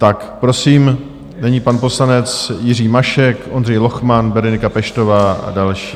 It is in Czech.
Tak prosím, nyní pan poslanec Jiří Mašek, Ondřej Lochman, Berenika Peštová a další.